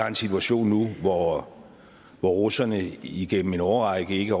en situation hvor hvor russerne igennem en årrække ikke